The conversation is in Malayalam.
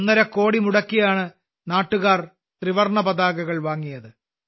കോടികൾ മുടക്കിയാണ് ആളുകൾ ത്രിവർണപതാകകൾ വാങ്ങിയത്